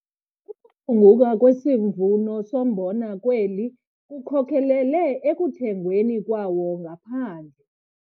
Ukuphunguka kwesivuno sombona kweli kukhokelele ekuthengweni kwawo ngaphandle.